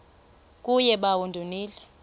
kuye bawo ndonile